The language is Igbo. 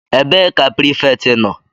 Ebee ka prefect nọ?